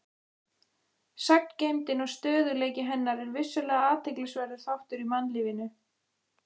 Sagngeymdin og stöðugleiki hennar er vissulega athyglisverður þáttur í mannlífinu.